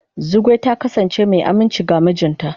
Zugwai ta kasance mai aminci ga mijinta.